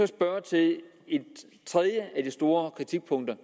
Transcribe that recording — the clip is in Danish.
tredje af de store kritikpunkter